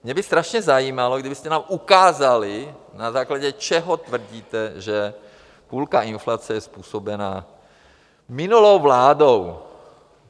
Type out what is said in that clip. Mě by strašně zajímalo, kdybyste nám ukázali, na základě čeho tvrdíte, že půlka inflace je způsobena minulou vládou.